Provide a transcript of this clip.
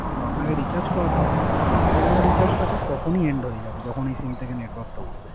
তো আপনাকে Recharge করাতে হবে না। But পুরানো Recharge টা তখন ই End হয়ে যাবে। যখন এই SIM থেক Network টা উরবে